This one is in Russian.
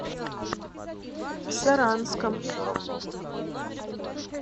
саранском